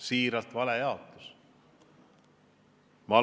Siiralt: see on vale jaotus!